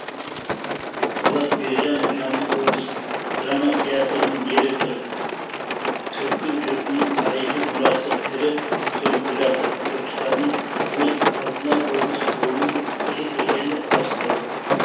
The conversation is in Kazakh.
болат бекжанов жамбыл облыстық драма театрының директоры түркі жұртының тарихи мұрасы тірі төлқұжаты түркістанның өз алдына облыс болуы берекені бастауы